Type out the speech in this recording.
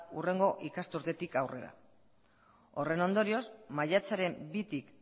hurrengo ikasturtetik aurrera horren ondorioz maiatzaren bitik